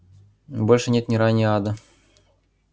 больше нет ни рая ни ада